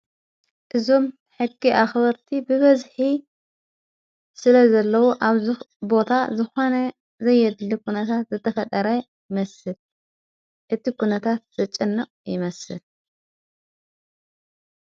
እዞም ሕጊ ኣኽበርቲ ብበዝኂ ስለ ዘለዉ ኣብ ዝቦታ ዝዃነ ዘየድሊ ኹነታት ዘተፈደራይ መስል እቲ ኩነታት ዘጨነቑ ይመስል።